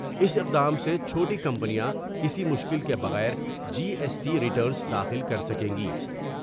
اس اقدام سے چھوٹی کمپنیاں کسی مشکل کے بغیر جی ایس ٹی ریٹرنس داخل کرسکیں گی ۔